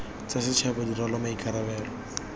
tsa setšhaba di rwale maikarabelo